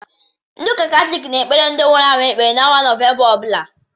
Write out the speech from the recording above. Ndị ụka Katọlik na-ekepre ndi nwụrụ anwụ ekpere n'ọnwa Nọvemba ọbụla